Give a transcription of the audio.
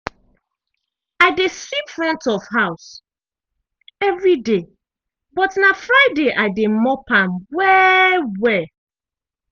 i dey sweep front of house evriday but na friday i dey mop am well-well.